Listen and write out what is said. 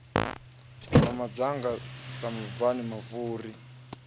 na madzanga sa mabvani mafhuri